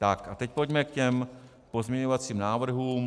Tak a teď pojďme k těm pozměňovacím návrhům.